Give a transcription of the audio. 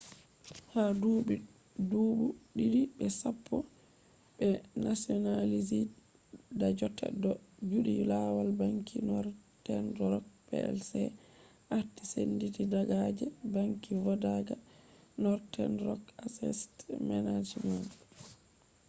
ha dubi dubu didi be sappo be nationalized da jotta do juti lawal banki northern rock plc arti senditi daga je ‘banki vodaka ‘ northern rock assest management